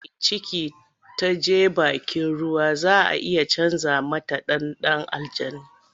Idan mace mai ciki ta je bakin ruwa za a iya canja mata ɗa da aljani.